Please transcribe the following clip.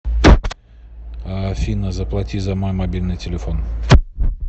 афина заплати за мой мобильный телефон